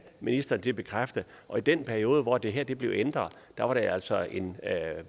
ministeren til at bekræfte og i den periode hvor det her blev ændret var det altså en